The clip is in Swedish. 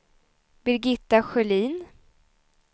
Birgitta Sjölin